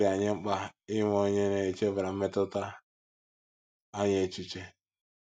Ọ dị anyị mkpa inwe onye na - echebara mmetụta anyị echiche.